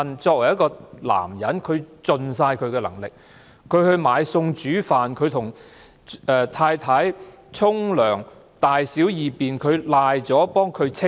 作為一個男人，他自問已盡了力，他買餸煮飯，幫太太洗澡，處理她的大小二便，所有事情都幫她處理。